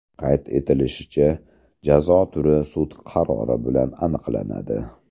Qayd etilishicha, jazo turi sud qarori bilan aniqlanadi.